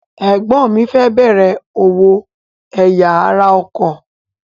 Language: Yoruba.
Ẹ̀gbọ́n mi fẹ́ bẹ̀rẹ̀ òwò ẹ̀ya ara ọkọ̀.